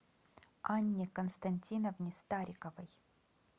анне константиновне стариковой